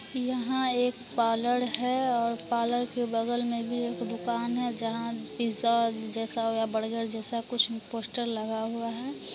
यहां एक पार्लर है और पार्लर के बगल में भी एकदम दुकान है जहां पिज़्ज़ा जैसा और बर्गर जैसा कुछ पोस्टर लगा हुआ हैं।